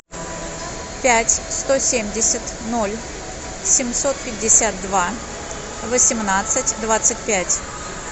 пять сто семьдесят ноль семьсот пятьдесят два восемнадцать двадцать пять